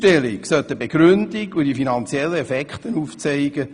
Die Aufstellung soll eine Begründung sowie die finanziellen Effekte beinhalten.